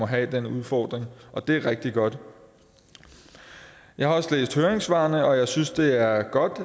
have den udfordring og det er rigtig godt jeg har også læst høringssvarene og jeg synes det er godt